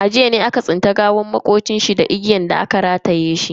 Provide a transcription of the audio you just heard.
A jiya ne aka tsinci gawar makocin mu a dakinshi da igiya rataye a wuyanshi.